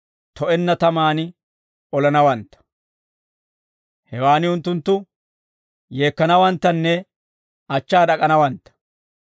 to'enna tamaan olanawantta; hewaan unttunttu yeekkanawanttanne achchaa d'ak'anawantta.